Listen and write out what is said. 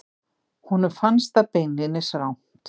Honum fannst það beinlínis rangt.